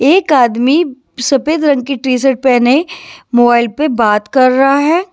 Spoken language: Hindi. एक आदमी सफेद रंग की टी शर्ट पहने मोबाइल पर बात कर रहा है।